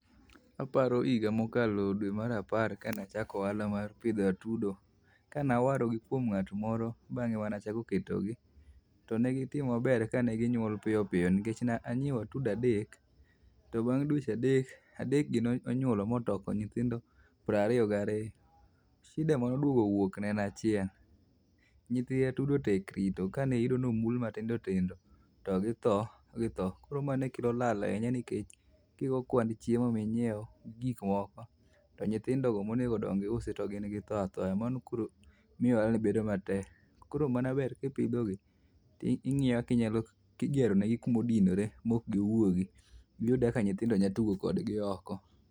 Aparo higa mokalo dwe mar apar ka nachako ohala mar pidho atudo. Ka nawarogi kuom ng'at moro bang'e manachako ketogi, to ne gitimo maber ka ne ginyuol piyo piyo nikech ne anyiewo atudo adek. To bang' dweche adek, adekgi nonyuolo motoko nyithindo prariyo gariyo. Shida manoduogo wuok en achiel, nyithi atudo tek rito ka niyudo nomul matindo tindo to githo githo. Koro ma ne kelo lal ahinya nikech kigo kwand chiemo minyiewo gi gik moko, to nyithindo go monego dongi iusi to gin githo athoya. Mano koro miyo ohala ni bedo matek, koro mano ber kipidhogi to ing'iyo kinyalo kigeronegi kumodinore mok giwuogi. Giyude kaka nyithindo nyatugo kodgi oko.